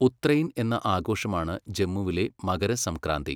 ഉത്രൈൻ' എന്ന ആഘോഷമാണ് ജമ്മുവിലെ മകരസംക്രാന്തി.